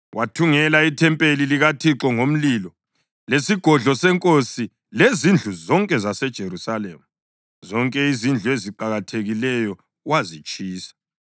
Wathungela ithempeli likaThixo ngomlilo, lesigodlo senkosi lezindlu zonke zaseJerusalema. Zonke izindlu eziqakathekileyo wazitshisa.